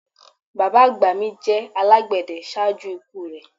Bàbá àgbà mi jẹ alágbède ṣaaju iku rẹ